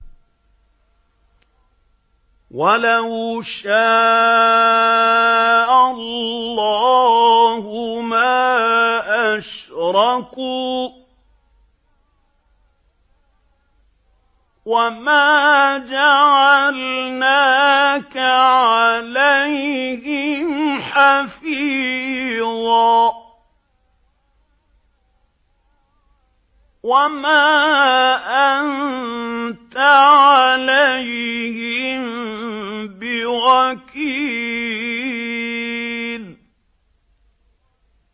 وَلَوْ شَاءَ اللَّهُ مَا أَشْرَكُوا ۗ وَمَا جَعَلْنَاكَ عَلَيْهِمْ حَفِيظًا ۖ وَمَا أَنتَ عَلَيْهِم بِوَكِيلٍ